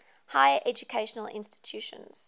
higher educational institutions